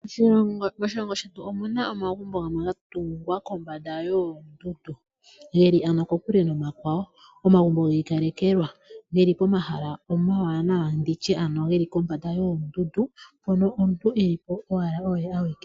Moshilongo shetu omuna omagumbo gamwe gatungwa kombanda yoondundu. Geli kokule nomakwawo, omagumbo giikalekelwa. Geli pomahala omawanawa, nditye ano geli pombanda yoondundu mpono omuntu elipo owala oye awike.